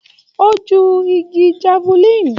O jù ìgi jafulin.